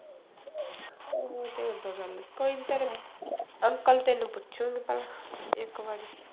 ਚੱਲ ਤੂੰ ਏਦਾਂ ਕਰ ਲਈਂ ਕੋਈ ਨੀ ਤੇਰੇ ਅੰਕਲ ਤੈਨੂੰ ਪੁੱਛੂਗਾ ਤਾਂ ਇੱਕ ਵਾਰੀ।